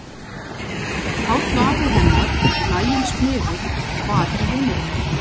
Páll afi hennar, laginn smiður, var í heimilinu.